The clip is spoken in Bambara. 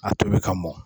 A tobi ka mɔn